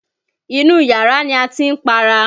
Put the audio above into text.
Inú yàrá ni a ti ń para.